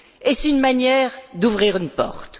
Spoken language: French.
Est ce une manière d'ouvrir une porte?